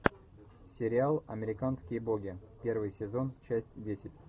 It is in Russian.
сериал американские боги первый сезон часть десять